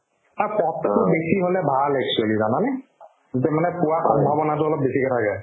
অ, পদতো বেছি হ'লে ভাল actually জানানে তেতিয়া মানে পোৱাৰ সম্ভাৱনাতো অলপ বেছিকে থাকে